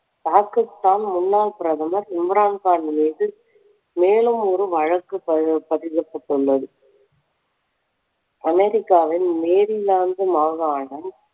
பாகிஸ்தான் முன்னாள் பிரதமர் இம்ரான் கான் மீது மேலும் ஒரு வழக்கு பதிய~ பதியப்பட்டுள்ளது அமெரிக்காவின் மேரிலாந்து மாகாணம்